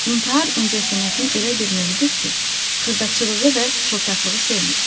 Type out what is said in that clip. İntihar incəsənətin elə bir növüdür ki, xırdaçılığı və şıltaqlığı sevmir.